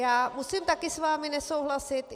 Já musím taky s vámi nesouhlasit.